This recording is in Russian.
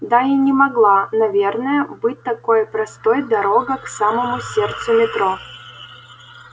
да и не могла наверное быть такой простой дорога к самому сердцу метро